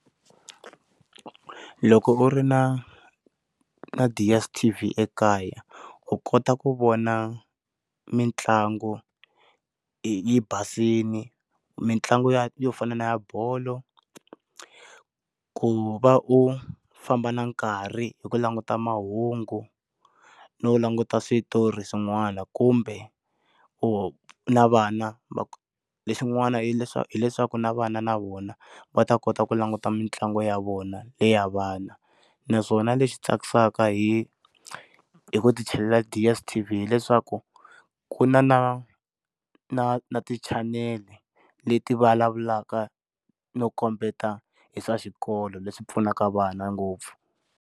Loko u ri na na DSTV ekaya u kota ku vona mitlangu yi basile mitlangu ya yo fana na ya bolo, ku va u famba na nkarhi hi ku languta mahungu no languta switori swin'wana kumbe u na vana lexin'wana hileswaku hileswaku na vana na vona va ta kota ku languta mitlangu ya vona leya vana naswona leswi tsakisaka hi hi ku ti chelela DSTV hileswaku ku na na na na ti chanel leti vulavulaka no kombeta hi swa xikolo leswi pfunaka vana ngopfu.